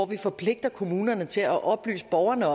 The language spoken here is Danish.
vi forpligter kommunerne til at oplyse borgerne